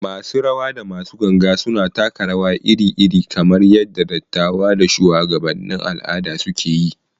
Masu rawa da masu ganga suna taka rawa iri-iri, kamar yadda dattawa da shuwagabannin al’ada suke yi.